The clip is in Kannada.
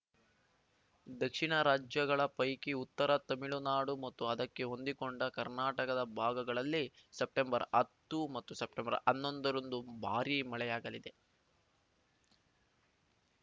ದಕ್ಷಿಣ ರಾಜ್ಯಗಳ ಪೈಕಿ ಉತ್ತರ ತೆಮಿಳುನಾಡು ಮತ್ತು ಅದಕ್ಕೆ ಹೊಂದಿಕೊಂಡ ಕರ್ನಾಟಕದ ಭಾಗಗಳಲ್ಲಿ ಸೆಪ್ಟೆಂಬರ್ಹತ್ತು ಮತ್ತು ಸೆಪ್ಟೆಂಬರ್ಹನ್ನೊಂದರಂದು ಭಾರೀ ಮಳೆಯಾಗಲಿದೆ